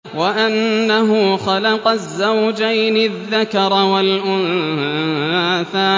وَأَنَّهُ خَلَقَ الزَّوْجَيْنِ الذَّكَرَ وَالْأُنثَىٰ